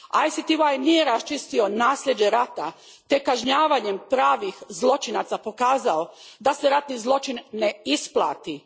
ICTY nije raščistio nasljeđe rata te kažnjavanjem pravih zločinaca pokazao da se ratni zločin ne isplati.